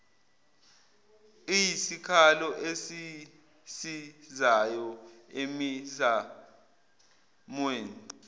iyisikhalo esisizayo emizamweni